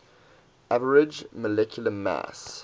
average molecular mass